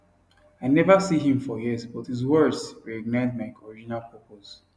i never see him for years but his words reignite my original purpose